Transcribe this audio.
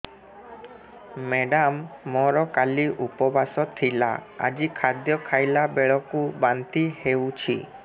madam ମୋର କାଲି ଉପବାସ ଥିଲା ଆଜି ଖାଦ୍ୟ ଖାଇଲା ବେଳକୁ ବାନ୍ତି ହେଊଛି